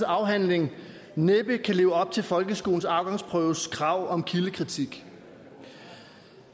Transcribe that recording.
afhandling næppe kan leve op til folkeskolens afgangsprøves krav om kildekritik